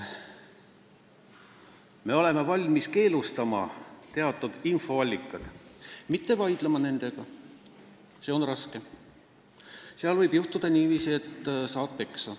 Me oleme valmis keelustama teatud infoallikad, mitte nendega vaidlema – see on raske, seal võib juhtuda niiviisi, et saad peksa.